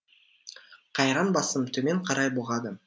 қайран басым төмен қарай бұғады